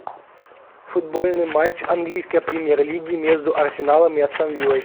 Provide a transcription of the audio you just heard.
футбольный матч английской премьер лиги между арсеналом и астон виллой